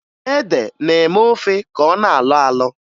Ede na-eme ofe ka ọ na-alọ alọ